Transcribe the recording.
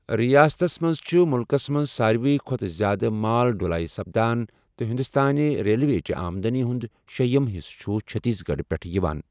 ریاستس منز چھِ مُلکَس منٛز ساروِی کھوتہٕ زیادٕ مال ڈٗلٲیہ سپدان ، تہٕ ہندوستٲنہِ ریلوےچہِ آمدنی ہُنٛد شیٛیِم حصہٕ چھُ چھتیس گڑھ پٮ۪ٹھ یِوان۔